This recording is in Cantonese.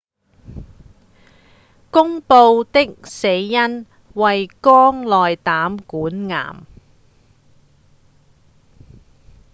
公布的死因為肝內膽管癌